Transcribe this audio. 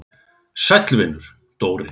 Sæll vinur, Dóri!